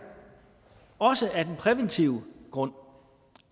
også af den præventive grund